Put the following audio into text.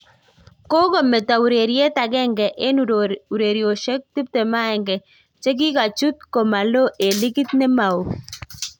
Kokometo ureriet agenge eng uroroshek 21 che kikachut ko malo en ligit nemaoo